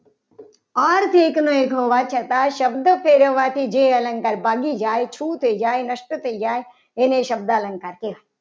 અર્થ એકનો એકનો હોવા છતાં શબ્દ ફેરવવાથી જે અલંકાર ભાગી જાય શું થઈ જાય. નષ્ટ થઈ જાય. એને શબ્દ અલંકાર કહેવાય.